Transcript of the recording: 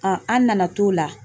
an nana t'o la